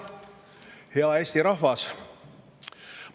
Hea Eesti rahvas!